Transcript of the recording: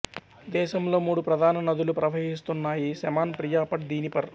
దేశంలో మూడు ప్రధాన నదులు ప్రవహిస్తున్నాయి నెమాన్ ప్రియాపట్ దినీపర్